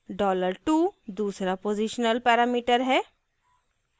$dollar 2 दूसरा postional parameter है